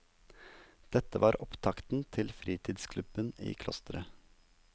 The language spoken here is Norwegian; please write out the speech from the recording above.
Dette var opptakten til fritidsklubben i klosteret.